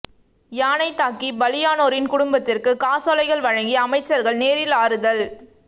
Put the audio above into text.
யானை தாக்கி பலியானோரின் குடும்பத்திற்கு காசோலைகள் வழங்கி அமைச்சர்கள் நேரில் ஆறுதல்